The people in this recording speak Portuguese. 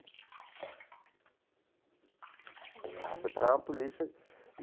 Ela foi parar na polícia.